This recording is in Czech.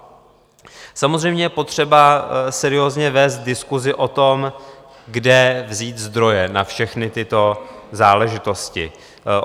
Samozřejmě je potřeba seriózně vést diskusi o tom, kde vzít zdroje na všechny tyto záležitosti.